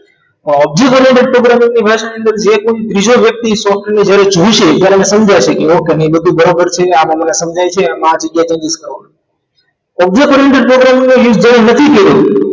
જી ભરેલો વ્યક્તિ ભાષાની અંદર જે કોઈ ત્રીજો વ્યક્તિ જ્યારે software ને જોશે ત્યારે સમજાશે કે ઓક્ટાની બરાબર છે આ મને સમજાય છે આમાં આ જગ્યાએ તે નથી કરવાનુ object programming નો use જેને નથી કર્યો